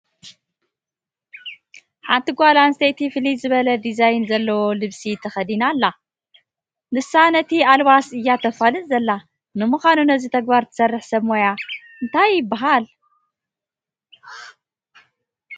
ሓንቲ ጓል ኣንስተይቲ ፍልይ ዝበለ ዲዛይን ዘለዎ ልብሲ ተኸዲና ኣላ፡፡ ንሳ ነቲ ኣልባስ እያ ተፋልጥ ዘላ፡፡ ንምኻኑ ነዚ ተግባር ትሰርሕ ሰብ ሙያኣ ታይ ይበሃል?